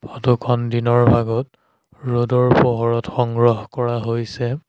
Photo খন দিনৰ ভাগত ৰ'দৰ পোহৰত সংগ্ৰহ কৰা হৈছে।